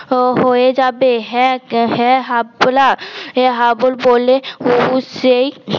হয়ে যাবে হ্যাঁ হ্যাঁ হাফলা হাবুল বলে হবু সেই